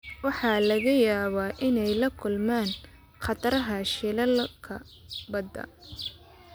Waxa laga yaabaa inay la kulmaan khataraha shilalka badda.